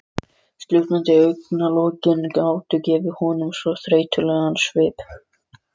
Slútandi augnalokin gátu gefið honum svo þreytulegan svip.